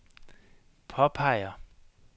påpeger